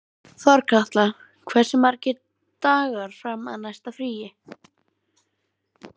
Þorkatla, hversu margir dagar fram að næsta fríi?